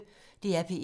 DR P1